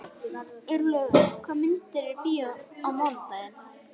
Örlaugur, hvaða myndir eru í bíó á mánudaginn?